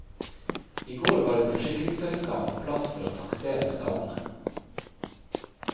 I går var et forsikringsselskap på plass for å taksere skadene.